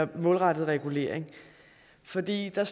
den målrettede regulering fordi der